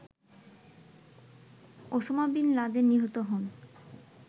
Osama bin Laden নিহত হন